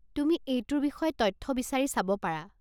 তুমি এইটোৰ বিষয়ে তথ্য বিচাৰি চাব পাৰা।